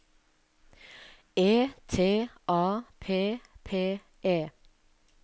E T A P P E